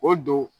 O don